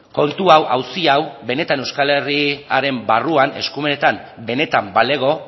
kontu hau auzi hau benetan euskal herriaren barruan eskumenetan benetan balego